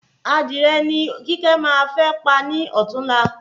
Adìrẹ ni kíkẹ́ fẹ pa ní ọtún la